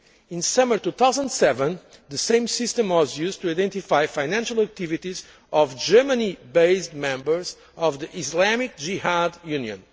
In summer 2007, the same system was used to identify the financial activities of Germany based members of the Islamic Jihad Union.